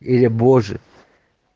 или боже